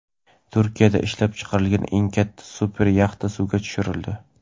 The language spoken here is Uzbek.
Turkiyada ishlab chiqarilgan eng katta super yaxta suvga tushirildi.